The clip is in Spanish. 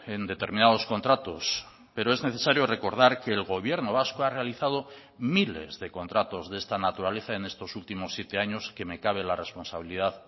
en determinados contratos pero es necesario recordar que el gobierno vasco ha realizado miles de contratos de esta naturaleza en estos últimos siete años que me cabe la responsabilidad